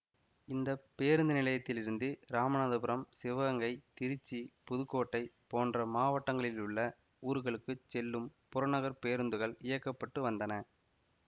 இந்த பேருந்து நிலையத்திலிருந்து இராமனாதபுரம் சிவகங்கை திருச்சி புதுக்கோட்டை போன்ற மாவட்டங்களிலுள்ள ஊர்களுக்குச் செல்லும் புறநகர் பேருந்துகள் இயக்கப்பட்டு வந்தன